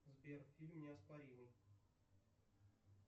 сбер фильм неоспоримый